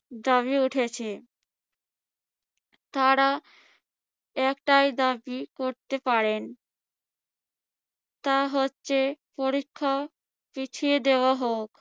দাবি উঠেছে? তারা একটাই দাবি করতে পারেন, তা হচ্ছে পরীক্ষা পিছিয়ে দেওয়া হোক।